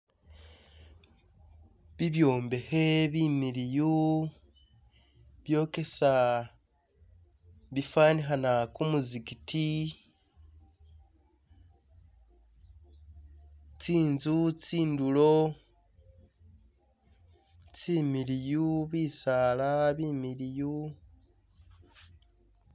Bibyombehe bimiliyu byokesa bifanihana kumuzigiti, tsinzu tsindulo tsimiliyu, bisala bimiliyu.